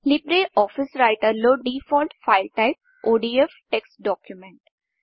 Libre office రైటర్లో default file type ODF text Documentటెక్ట్స్ document